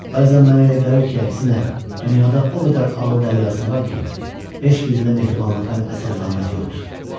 Bəzən mənə elə gəlir ki, əksinə, dünyada o qədər ağıl dəryası var ki, heç birində mehribanlıqdan əsər-əlamət yoxdur.